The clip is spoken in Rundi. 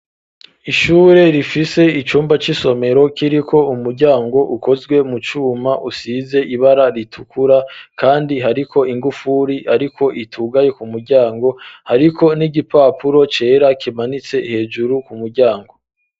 Ishure rifise icumba c'isomero kiriko umuryango ukozwe mu cuma, usize ibara ritukura kandi hariko ingufuri ariko itugaye ku muryango, hariko n'igipapuro cera kimanitse hejuru ku muryango.